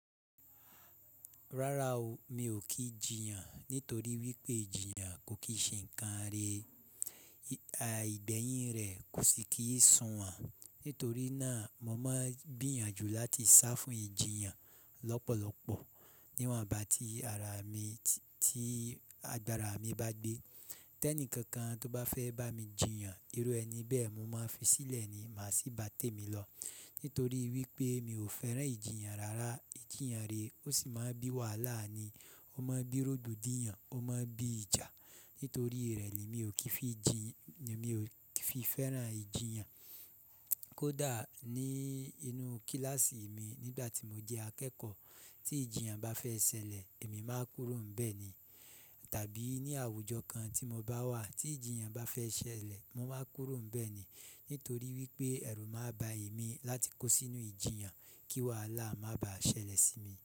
Rárá o, mi ò kí jiyàn nítorí wípé jìyàn kò kìí ṣe ǹkan re. Ìgbẹ̀yìn rẹ̀ kò sì kí ń sùn wọ̀n. Nítorí náà, mo máa ń gbìyànjú láti sá fún ìjiyàn lọ́pọ̀lọ́pọ̀ níwọ̀n bá ti agbára mi bá gbé. Tẹ́ní kankan tó bá fẹ́ bá mi jiyàn, irú ẹni bẹ́ẹ̀ ni mo máa fi sílẹ̀ ni, má sì bá tèmi lọ. Nítorí wípé mi ò fẹ́ràn ìjiyàn rárá. Ìjiyàn rẹ ò sì máa ń bí wàhálà ni. Ó máa ń bí rògbòdìyàn, ó máa ń bí ìjà. Nítorí rẹ lé mi ò kíi fi jiyàn, mi ò fi fẹ́ràn ìjiyàn. Kódà ní inú kíláàsì mi nígbà tí mo jẹ́ akẹ́kọ̀ọ́, tí ìjiyàn bá fẹ́ ṣẹlẹ̀, èmi máa kúrò ńbẹ̀ ni. Tàbí ní àwùjọ kan tí mo bá wà, tí ìjiyàn bá fẹ́ ṣẹlẹ̀, mo máa kúrò ńbẹ̀ ni. Nítorí wípé ẹ̀rù máa ń ba èmi láti kó sínú ìjiyàn, kí wàhálà má bàá ṣẹlẹ̀ sí mi.